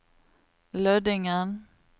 Lødingen